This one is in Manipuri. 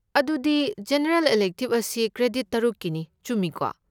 ꯑꯗꯨꯗꯤ ꯖꯦꯅꯔꯦꯜ ꯏꯂꯦꯛꯇꯤꯕ ꯑꯁꯤ ꯀ꯭ꯔꯦꯗꯤꯠ ꯇꯔꯨꯛꯀꯤꯅꯤ, ꯆꯨꯝꯃꯤꯀꯣ?